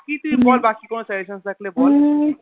বাকি তুই বল তোর কোনো Suggestion থাকলে বল